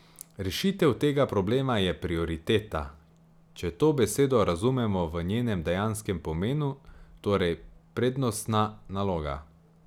Rešitev tega problema je prioriteta, če to besedo razumemo v njenem dejanskem pomenu, torej prednostna naloga.